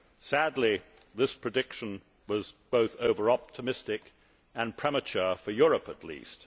Sadly, this prediction was both over optimistic and premature for Europe, at least.